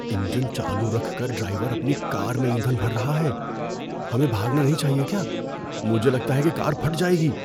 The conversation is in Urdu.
انجن چالو رکھ کر ڈرائیور اپنی کار میں ایندھن بھر رہا ہے۔ ہمیں بھاگنا نہیں چاہیے کیا؟ مجھے لگتا ہے کہ کار پھٹ جائے گی۔